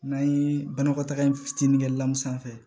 N'an ye banakɔtaga in fitinin kɛ la mun sanfɛ